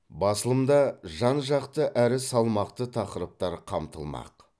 басылымда жан жақты әрі салмақты тақырыптар қамтылмақ